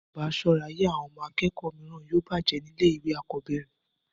tí a kò bá sọ́ra, ayé àwọn akẹ́kọ̀ọ́ mìíràn yóò bàjẹ́ ní ilé ìwé àkọ́bẹ̀rẹ̀